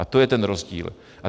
A to je ten rozdíl.